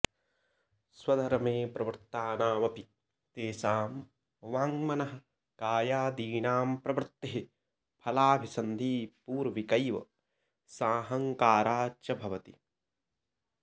स्वधर्मे प्रवृत्तानामपि तेषां वाङ्मनःकायादीनां प्रवृत्तिः फलाभिसंधिपूर्विकैव साहंकारा च भवति